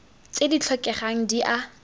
tse di tlhokegang di a